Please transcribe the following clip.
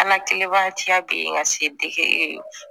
An ka kileba tiya bi ka se degeli